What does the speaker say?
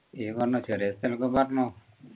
നീ പറഞ്ഞോ ചെറിയ സ്ഥലൊക്കെ പറഞ്ഞോ